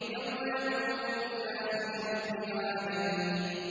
يَوْمَ يَقُومُ النَّاسُ لِرَبِّ الْعَالَمِينَ